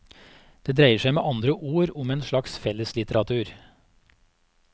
Det dreiet seg med andre ord om en slags felleslitteratur.